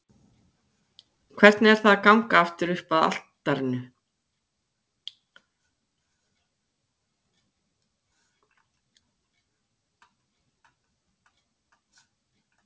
Hvernig er það að ganga aftur upp að altarinu?